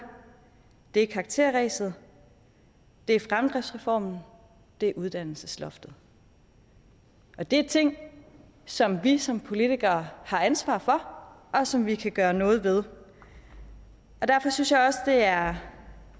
er karakterræset det er fremdriftsreformen det er uddannelsesloftet det er ting som vi som politikere har ansvar for og som vi kan gøre noget ved derfor synes jeg også det er